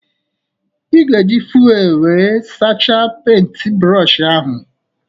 Ị ga-eji fuelu wéré sachaa penti brooshi ahụ